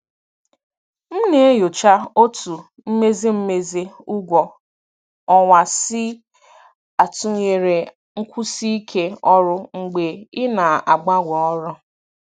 M na-enyocha otú mmezi mmezi ụgwọ ọnwa si atụnyere nkwụsi ike ọrụ mgbe ị na-agbanwe ọrụ.